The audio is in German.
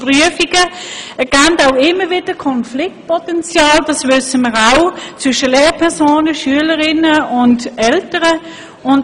Wir wissen ja, dass Prüfungen immer wieder Konfliktpotenzial zwischen Lehrpersonen, Schülerinnen und Schülern und Eltern bergen.